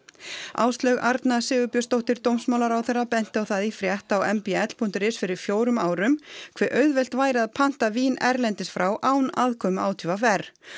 Áslaug Arna Sigurbjörnsdóttir dómsmálaráðherra benti á það í frétt á m b l punktur is fyrir fjórum árum hve auðvelt væri að panta vín erlendis frá án aðkomu á t v r